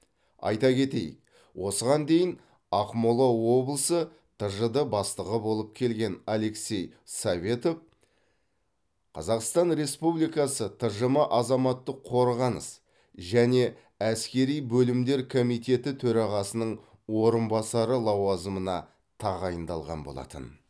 айта кетейік осыған дейін ақмола облысы тжд бастығы болып келген алексей советов қазақстан республикасы тжм азаматтық қорғаныс және әскери бөлімдер комитеті төрағасының орынбасары лауазымына тағайындалған болатын